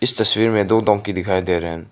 इस तस्वीर में दो डोंकी दिखाई दे रहे--